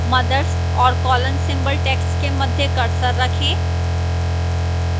mothers और colon symbol text के मध्य cursor रखें